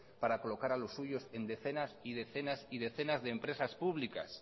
para colocar a los suyos en decenas y decenas de empresas públicas